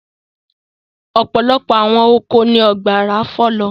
Ọ̀pọ̀lọpọ̀ àwọn oko ni ọ̀gbàrà fọ̀ lọ.